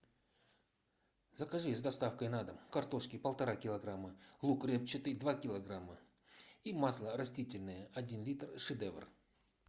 закажи с доставкой на дом картошки полтора килограмма лук репчатый два килограмма и масло растительное один литр шедевр